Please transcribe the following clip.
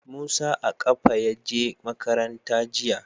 Musa a ƙafa ya je makaranta jiya.